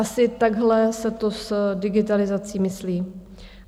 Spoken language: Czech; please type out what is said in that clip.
Asi takhle se to s digitalizací myslí.